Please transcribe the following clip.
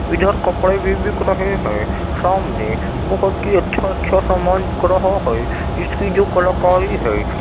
इधर कपड़े भी बिक रहे हैं। सामने बोहोत ही अच्छा-अच्छा सामान बिक रहा है। इसकी जो कलाकारी है --